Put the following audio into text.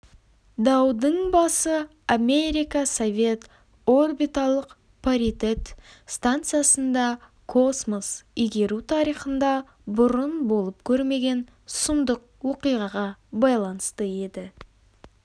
даудың басы америка-совет орбиталық паритет станциясында космос игеру тарихында бұрын болып көрмеген сұмдық оқиғаға байланысты еді